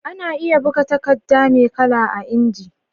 Ana iya buga takadda me kala a inji